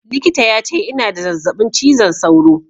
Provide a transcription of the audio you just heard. Likita ya ce ina da zazzaɓin cizon sauro